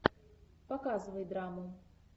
показывай драму